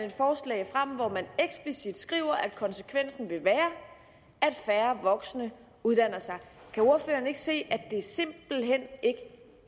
et skriver at konsekvensen vil være at færre voksne uddanner sig kan ordføreren ikke se at det simpelt hen ikke